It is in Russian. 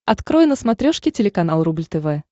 открой на смотрешке телеканал рубль тв